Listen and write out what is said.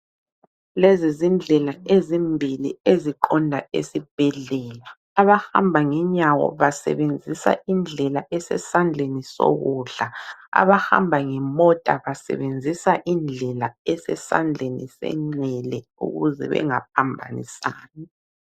Lezi zindlela ezimbili eziqonda esibhedlela. Abahamba ngenyawo basebenzisa indlela esesandleni sokudla. Abahamba ngemota basebenzisa indlela esesandleni senxele ukuze bengaphambanisani.